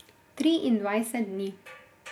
Triindvajset dni.